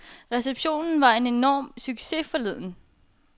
Receptionen var en enorm succes forleden.